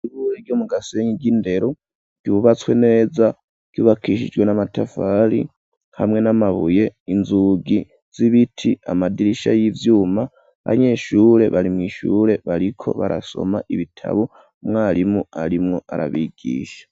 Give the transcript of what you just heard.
Ishure ryo mu gasenyi ry'indero byubatswe neza ryubakishijwe n'amatafari hamwe n'amabuye inzugi z'ibiti amadirisha y'ivyuma abanyeshure bari mu ishure bariko barasoma ibitabo mwarimu arimwo arabigisha